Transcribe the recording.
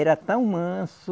Era tão manso,